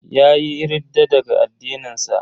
Yayi ridda daga addinin sa.